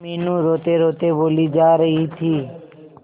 मीनू रोतेरोते बोली जा रही थी